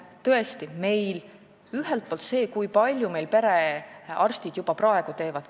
Tõesti, ühelt poolt tuleb vaadata seda, kui palju perearstid juba praegu teevad.